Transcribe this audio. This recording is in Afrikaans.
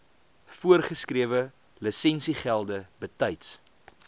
voorgeskrewe lisensiegelde betyds